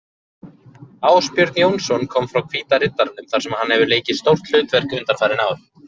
Ásbjörn Jónsson kom frá Hvíta Riddaranum þar sem hann hefur leikið stórt hlutverk undanfarin ár.